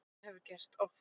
Það hefur gerst oft.